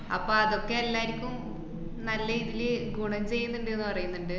അപ്പോ അതൊക്കെ എല്ലാര്ക്കും നല്ല ഇതില് ഗുണം ചെയുന്ന്ണ്ട്ന്ന് പറയ്ന്ന്ണ്ട്.